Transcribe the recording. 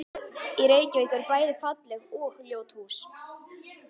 Í Reykjavík eru bæði falleg og ljót hús.